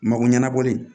Mako ɲɛnabɔli